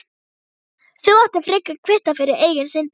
Þú ættir frekar að kvitta fyrir eigin syndir.